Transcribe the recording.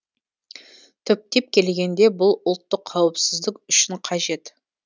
түптеп келгенде бұл ұлттық қауіпсіздік үшін қажет